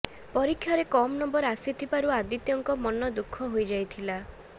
ପରୀକ୍ଷାରେ କମ୍ ନମ୍ବର ଆସିଥିବାରୁ ଆଦିତ୍ୟଙ୍କ ମନ ଦୁଖଃ ହୋଇଯାଇଥିଲା